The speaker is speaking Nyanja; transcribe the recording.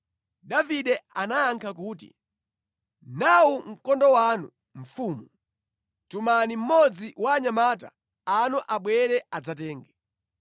Davide anayankha kuti, “Nawu mkondo wanu, mfumu. Tumani mmodzi wa anyamata anu abwere adzatenge.